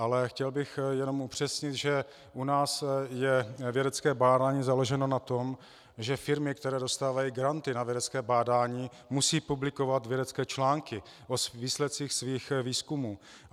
Ale chtěl bych jenom upřesnit, že u nás je vědecké bádání založeno na tom, že firmy, které dostávají granty na vědecké bádání, musí publikovat vědecké články o výsledcích svých výzkumů.